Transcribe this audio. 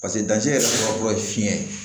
parɛndancɛ yɛrɛ fɔlɔ ye fiɲɛ ye